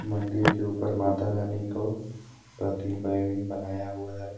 मंदिर के ऊपर माता रानी को बनाया हुआ है।